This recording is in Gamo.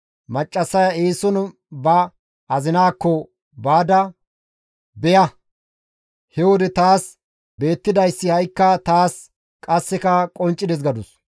Maccassaya eeson ba azinaakko baada, «Beya! He wode taas beettidayssi ha7ikka taas qasseka qonccides» gadus.